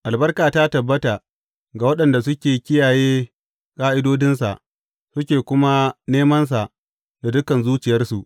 Albarka ta tabbata ga waɗanda suke kiyaye ƙa’idodinsa suke kuma nemansa da dukan zuciyarsu.